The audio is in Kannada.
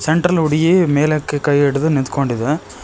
ಸೆಂಟ್ರಲ್ ಹುಡುಗಿ ಮೇಲಕ್ಕೆ ಕೈ ಹಿಡಿದು ನಿಟ್ಕೊಂಡಿದೆ.